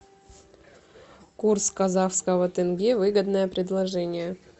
курс казахского тенге выгодное предложение